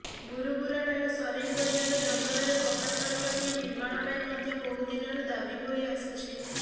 ବୁରୁବୁରାଠାରୁ ସରେଇ ପର୍ଯ୍ୟନ୍ତ ଜଙ୍ଗଲରେ ପକ୍କା ସଡ଼କଟିଏ ନିର୍ମାଣ ପାଇଁ ମଧ୍ୟ ବହୁଦିନରୁ ଦାବି ହୋଇ ଆସୁଛି